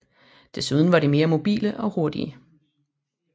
Desuden var de mere mobile og hurtige